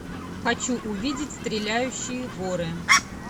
хочу увидеть стреляющие горы